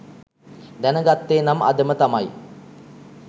දැන ගත්තේ නම් අදම තමයි